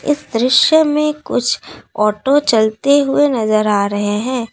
इस दृश्य में कुछ ऑटो चलते हुए नजर आ रहे हैं।